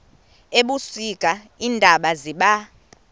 ebusika iintaba ziba